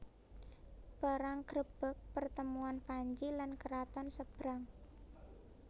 Perang grebeg pertemuan Panji lan keraton Sebrang